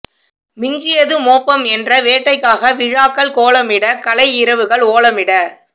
மிஞ்சியது மோப்பம் என்ற வேட்டைக்காக விழாக்கள் கோலமிட கலை இரவுகள் ஓலமிட